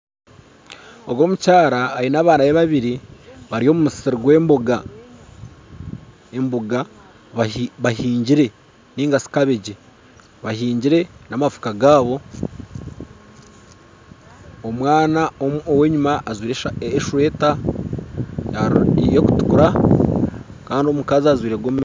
Ogu omukyara aine abaana be babiri bari omu musiri gw'emboga, emboga bahingire ninga shi kabeegi bahingire namafuuka gaabo omwana ow'enyuma ajwire esweeta y'okutukura kandi omukazi ajwire gomesi